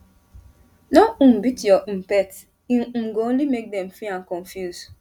no um beat your um pet e um go only make dem fear and confuse